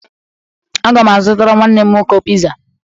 Aga m azụtara nwanne m nwoke piza.